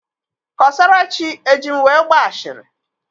Kọsarachi eji m wee gbaa ashịrị?